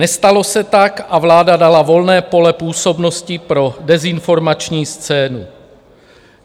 Nestalo se tak a vláda dala volné pole působnosti pro dezinformační scénu.